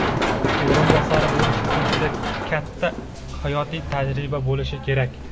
o‘rinbosari bo‘lish uchun juda katta hayotiy tajriba bo‘lishi kerak.